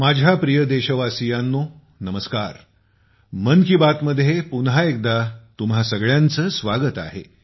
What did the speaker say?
माझ्या प्रिय देशवासियांनो नमस्कार मन की बात मध्ये पुन्हा एकदा तुम्हां सगळ्यांचे स्वागत आहे